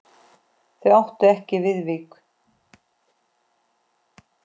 Þau áttu ekki Viðvík.